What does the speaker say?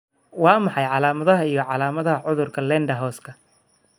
Waa maxay calaamadaha iyo calaamadaha cudurka Ledderhoska